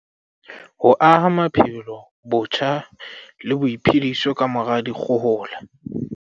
Ho aha maphelo botjha le boiphediso kamora dikgohola